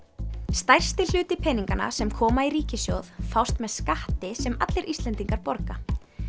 stærsti hluti peninganna sem koma í ríkissjóð fást með skatti sem allir Íslendingar borga